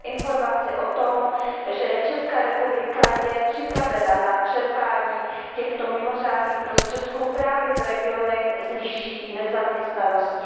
Mám informaci o tom, že Česká republika je připravena na čerpání těchto mimořádných prostředků právě v regionech s vyšší nezaměstnaností.